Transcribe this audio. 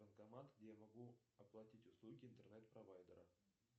банкомат где я могу оплатить услуги интернет провайдера